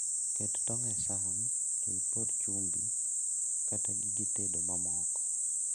Ket tong' e san to ipor chumbi kata gige tedo mamoko